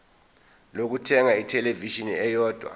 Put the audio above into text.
lokuthenga ithelevishini eyodwa